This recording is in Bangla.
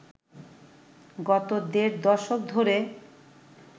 গত দেড় দশক ধরে